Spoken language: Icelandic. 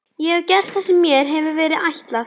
Ég hef gert það sem mér hefur verið ætlað.